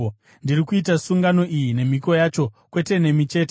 Ndiri kuita sungano iyi, nemhiko yacho, kwete nemi chete,